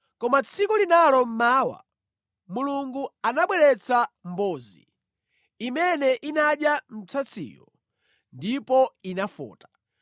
Koma tsiku linalo mmawa, Mulungu anabweretsa mbozi imene inadya msatsiyo ndipo inafota.